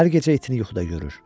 Hər gecə itini yuxuda görür.